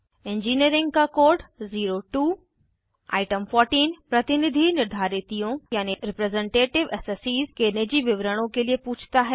engineering का code 02 item 14 प्रतिनिधि निर्धारितियों के निजी विवरणों के लिए पूछता है